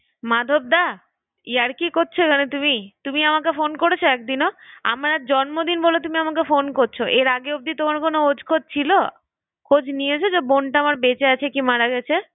মাধবদা তুমি ইয়ার্কি করছো এখানে তুমি? হ্যাঁ তুমি? তুমিআমাকে ফোন করেছো এক দিনও? আমার আজ জন্মদিন বলে তুমি আমাকে ফোন করছো? এর আগে অবধি তোমার কোনো ওজ খোঁজ ছিল? খোঁজ নিয়েছো যে বোনটা আমার বেঁচে আছে কি মারা গেছে?